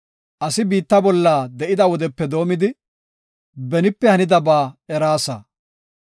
Asi biitta bolla de7ida wodepe doomidi, benipe hanidaba eraasa.